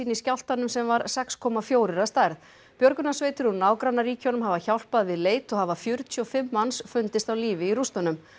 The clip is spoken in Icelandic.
í skjálftanum sem var sex komma fjórir að stærð björgunarsveitir úr nágrannaríkjunum hafa hjálpað við leit og hafa fjörutíu og fimm manns fundist á lífi í rústunum